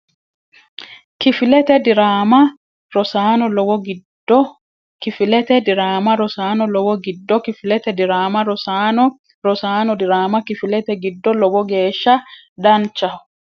kifilete diraama Rosaano Lowo giddo kifilete diraama Rosaano Lowo giddo kifilete diraama Rosaano Rosaano diraama kifilete giddo Lowo geeshsha danchaho !